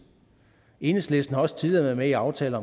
enhedslisten har også tidligere været med i aftaler